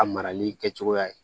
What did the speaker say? A marali kɛcogoya ye